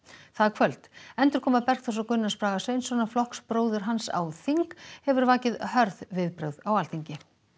það kvöld endurkoma Bergþórs og Gunnars Braga Sveinssonar flokksbróður hans á þing hefur vakið hörð viðbrögð á Alþingi